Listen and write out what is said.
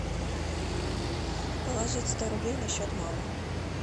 положить сто рублей на счет мамы